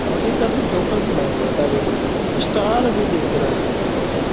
और एक आदमी जॉकेर बना हुआ है दाढ़ी बढ़ा के और स्टार भी देख रहा है बगल में --